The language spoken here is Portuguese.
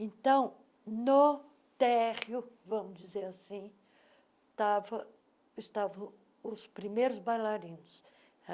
Então, no térreo, vamos dizer assim, estava estavam os primeiros bailarinos.